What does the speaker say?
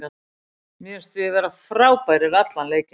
Mér fannst við vera frábærir allan leikinn.